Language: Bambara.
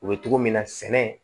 U bɛ togo min na sɛnɛ